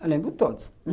Eu lembro de todos.